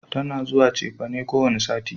Tana zuwa cefane kowane sati